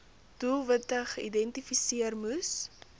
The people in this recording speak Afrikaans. doelwitte geïdentifiseer moes